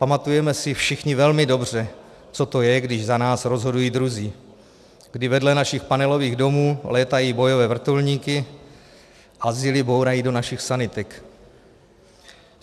Pamatujeme si všichni velmi dobře, co to je, když za nás rozhodují druzí, kdy vedle našich panelových domů létají bojové vrtulníky a zily bourají do našich sanitek.